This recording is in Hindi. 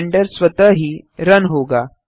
ब्लेंडर स्वतः ही रन होगा